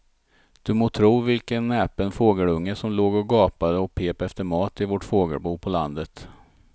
Du må tro vilken näpen fågelunge som låg och gapade och pep efter mat i vårt fågelbo på landet.